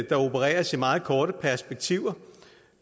opereres i meget korte perspektiver